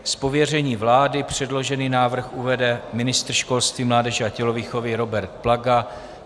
Z pověření vlády předložený návrh uvede ministr školství, mládeže a tělovýchovy Robert Plaga.